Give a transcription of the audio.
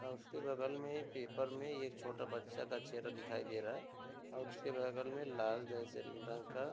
और उसके बगल में एक पेपर में एक छोटा बच्चा का चेहरा दिखाई दे रहा है और इसके बगल में लाल जैसे रंग का --